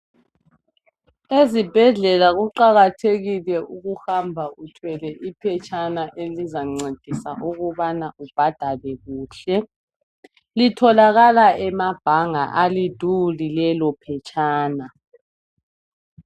Ezibhedlela kuqakathekile ukuhamba uthelwe iphetshana elizancedisa ukubana ubhadale kuhle. Litholakala emabhanga aliduli lelo phetshana.